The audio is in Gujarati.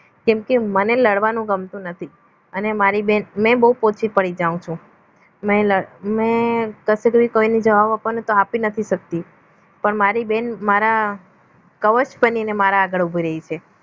કેમકે મને લડવાનું ગમતું નથી અને મારી બેન પોચી પડી જાઉં છું મેં મેં કસે પણ કોઈને જવાબ આપવાનો હોય તો આપી નથી શકતી પણ મારી બેન મારા કવચ બનીને મારા આગળ ઉભી રહે છે